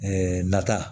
nata